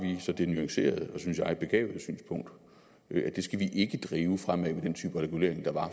vi så det nuancerede og synes jeg begavede synspunkt at det skal vi ikke drive fremad med den type regulering der var